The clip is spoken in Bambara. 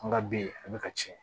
An ka bi a bɛ ka tiɲɛ